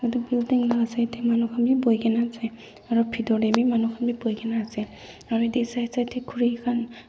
etu laga side dae manu khan bi boi kina asae aro pitor dae bi manu khan boi kina asae aro yadae side side dae kuri khan.